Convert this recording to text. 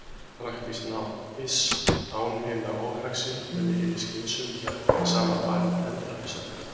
Praktískt nám, iss- án hinna óhagsýnu munu hinir skynsömu hjakka í sama farinu endalaust.